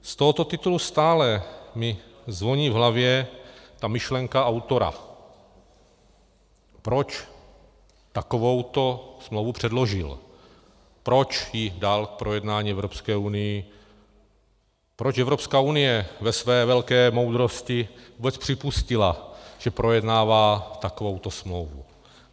Z tohoto titulu mi stále zvoní v hlavě ta myšlenka autora, proč takovouto smlouvu předložil, proč ji dal k projednání Evropské unii, proč Evropská unie ve své velké moudrosti vůbec připustila, že projednává takovouto smlouvu.